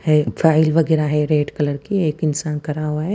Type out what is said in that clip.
एक फाइल वगैरह है रेड कलर की एक इंसान खड़ा हुआ है।